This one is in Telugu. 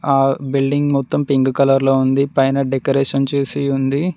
ఆ బిల్డింగ్ మొత్తం పింక్ కలర్ లో ఉంది పైన డెకరేషన్ చేసి ఉంది.